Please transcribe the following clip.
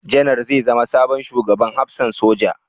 Janar zai zama sabon Shugaban Hafsan Soja?